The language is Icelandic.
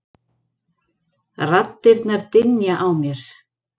Raddirnar dynja á mér.